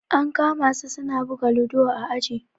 An kama su suna buga ludo a aji.